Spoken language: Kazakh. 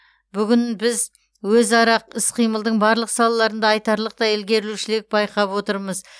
бүгін біз өзара іс қимылдың барлық салаларында айтарлықтай ілгерілеушілік байқап отырмыз